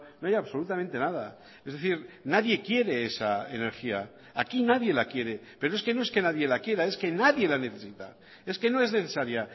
no hay absolutamente nada es decir nadie quiere esa energía aquí nadie la quiere pero es que no es que nadie la quiera es que nadie la necesita es que no es necesaria